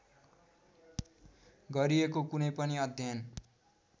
गरिएको कुनै पनि अध्ययन